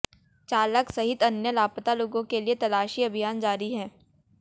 चालक सहित अन्य लापता लोगों के लिए तलाशी अभियान जारी है